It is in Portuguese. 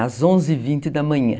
Às onze e vinte da manhã.